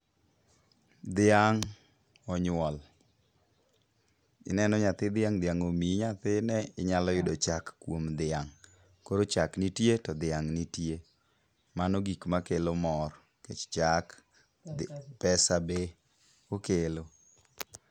Dhiang' onyuol. Ineno nyathi dhiang' dhiang' omiyi nyathine inyalo yudo chak kuom dhiang'. Koro chak nitie to dhiang' nitie. Mano gik makelo mor nikech chak pesa be okelo.